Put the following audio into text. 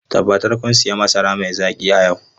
Tabbatar kun sayi masara mai zaki a yau!